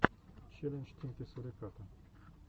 челлендж тимки суриката